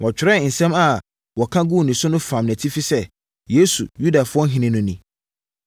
Wɔtwerɛɛ nsɛm a wɔka guu ne so no bi fam nʼatifi sɛ, “Yesu, Yudafoɔ Ɔhene No Ni.”